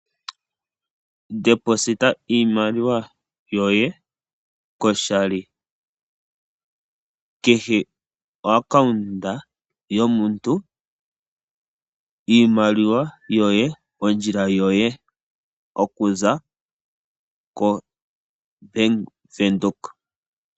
Tulako iimaliwa yoye koshali kehe kompungulilo yomuntu, iimaliwa yoye, ondjila yoye. Okuza koBank Windhoek.